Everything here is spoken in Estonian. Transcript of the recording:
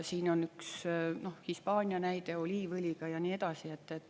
Siin on üks Hispaania näide oliiviõliga ja nii edasi.